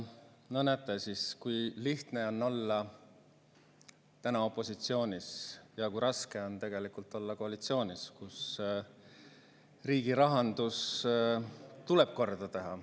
No näete siis, kui lihtne on olla opositsioonis ja kui raske on tegelikult olla koalitsioonis, kui riigirahandus tuleb korda teha.